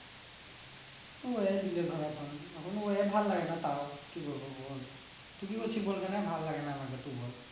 কি বলবো বল